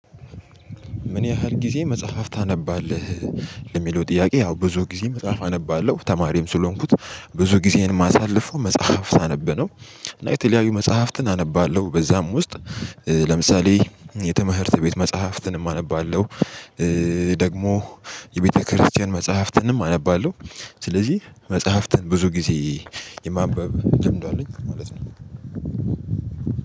ምን ያህል ጊዜ መጽሐፍ ታነባለህ? ለሚለው ጥያቄ ያው ብዙ ጊዜ መጽሐፍ አነባለሁ ተማሪም ስለሆንኩት ብዙ ጊዜን ማሳለፍ መጽሐፍ ሳነበ ነው። እና የተለያዩ መጽሐፍትን አነባለሁ በዛም ውስጥ ለምሳሌ የተመህርት ቤት መጽሐፍትንም አነባለሁ። ደግሞ የቤተክርስቲያን መጽሐፍትንም አነባለሁ። ስለዚህ መጽሐፍትን ብዙ ጊዜ የማንበብ ልምዱ አለኝ ማለት ነው።